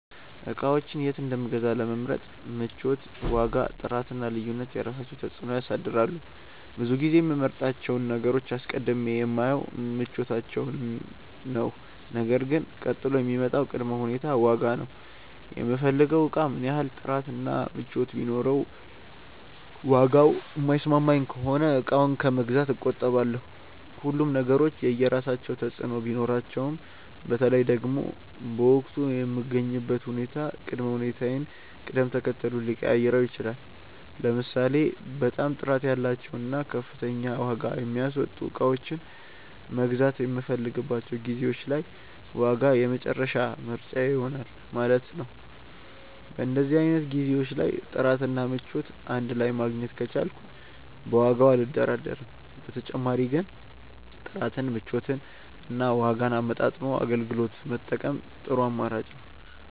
እቃዎችን የት እንደምገዛ ለመምረጥ ምቾት፣ ዋጋ፣ ጥራት እና ልዩነት የራሳቸውን ተፅዕኖ ያሳድራሉ። ብዙ ጊዜ የምመርጣቸውን ነገሮች አስቀድሜ የማየው ምቾታቸውን ነው ነገር ግን ቀጥሎ የሚመጣው ቅድመ ሁኔታ ዋጋ ነው። የምፈልገው እቃ ምንም ያህል ጥራት እና ምቾት ቢኖረውም ዋጋው የማይስማማኝ ከሆነ እቃውን ከመግዛት እቆጠባለሁ። ሁሉም ነገሮች የየራሳቸው ተፅእኖ ቢኖራቸውም በተለይ ደግሞ በወቅቱ የምገኝበት ሁኔታ ቅድመ ሁኔታዬን ቅደም ተከተሉን ሊቀያይረው ይችላል። ለምሳሌ በጣም ጥራት ያላቸውን እና ከፍተኛ ዋጋ የሚያስወጡ እቃዎችን መግዛት የምፈልግባቸው ጊዜዎች ላይ ዋጋ የመጨረሻ ምርጫዬ ይሆናል ማለት ነው። በእንደዚህ አይነት ጊዜዎች ላይ ጥራት እና ምቾት እንድ ላይ ማግኘት ከቻልኩ በዋጋው አልደራደርም። በተጨማሪ ግን ጥራትን፣ ምቾትን እና ዋጋን አመጣጥኖ አገልግሎት መጠቀም ጥሩ አማራጭ ነው።